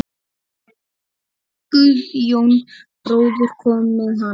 Guðjón bróðir kom með hana.